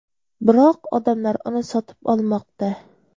Biroq odamlar uni sotib olmoqda.